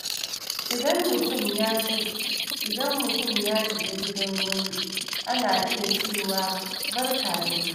Idan mutum ya shiga gidan wani, ana iya cewa “Barka da zuwa.”